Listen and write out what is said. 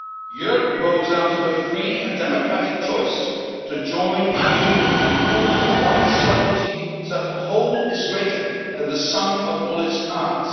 Europe grows out of a free and democratic choice to join a union and pool one sovereignty so that the whole is greater than the sum of all its parts.